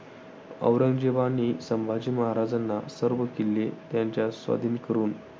औरंगजेबाने संभाजी महाराजांना सर्व किल्ले त्याच्या स्वाधीन करून